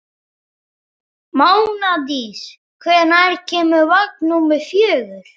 Mánadís, hvenær kemur vagn númer fjögur?